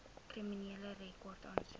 kriminele rekord aansoek